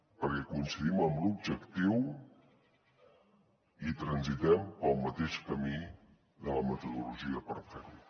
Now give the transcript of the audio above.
perquè coincidim en l’objectiu i transitem pel mateix camí de la metodologia per fer ho